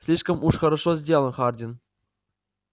слишком уж хорошо сделан хардин